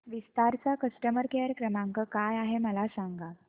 विस्तार चा customer care क्रमांक काय आहे मला सांगा